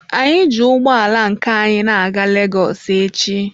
Anyị ji ụgbọ ala nke anyi na-aga Legọs echi.